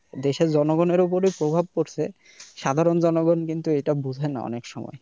দেশের জনগণের উপরই প্রভাব পড়ছে সাধারণ জনগণ কিন্তু এটা বোঝে না অনেক সময়।